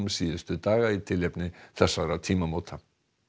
síðustu daga í tilefni þessara tímamóta